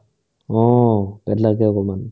অ, পেতলাকে অকমান